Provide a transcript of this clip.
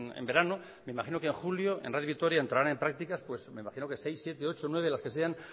en verano me imagino que en julio en radio vitoria entrarán en prácticas pues me imagino que seis siete ocho nueve las que sean